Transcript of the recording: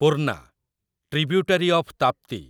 Purna, tributary of Tapti